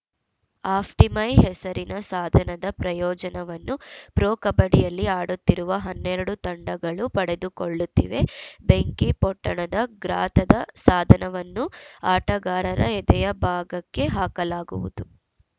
ಆಫ್ಟಿಮೈ ಹೆಸರಿನ ಸಾಧನದ ಪ್ರಯೋಜನವನ್ನು ಪ್ರೊ ಕಬಡ್ಡಿಯಲ್ಲಿ ಆಡುತ್ತಿರುವ ಹನ್ನೆರಡು ತಂಡಗಳು ಪಡೆದುಕೊಳ್ಳುತ್ತಿವೆ ಬೆಂಕಿಪೊಟ್ಟಣದ ಗ್ರಾತದ ಸಾಧನವನ್ನು ಆಟಗಾರರ ಎದೆಯ ಭಾಗಕ್ಕೆ ಹಾಕಲಾಗುವುದು